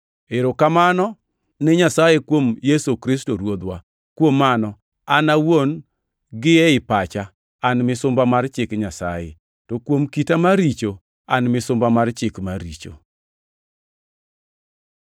Erokamano ne Nyasaye kuom Yesu Kristo Ruodhwa! Kuom mano, an awuon gi ei pacha an misumba mar chik Nyasaye, to kuom kita mar richo, an misumba mar chik mar richo.